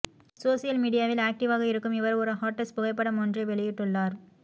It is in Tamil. சோசியல் மீடியாவில் ஆக்டிவ்வாக இருக்கும் இவர் ஒரு ஹாட்டஸ் புகைப்படம் ஒன்றை வெளியிட்டுள்ளார்